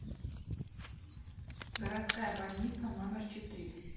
городская больница номер четыре